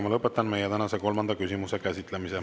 Ma lõpetan tänase kolmanda küsimuse käsitlemise.